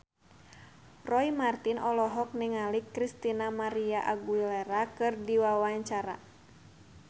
Roy Marten olohok ningali Christina María Aguilera keur diwawancara